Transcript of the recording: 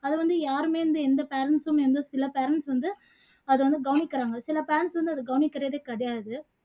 அதை வந்து யாருமே வந்து எந்த parents உம் எந்த சில parents வந்து அதை வந்து கவனிக்குறாங்க சில parents வந்து அதை கவனிக்குறதே கிடையாது